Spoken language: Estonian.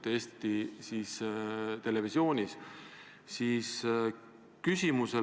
Ei ole keegi siin õigem või valem Riigikogu liige.